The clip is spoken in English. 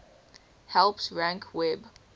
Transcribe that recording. helps rank web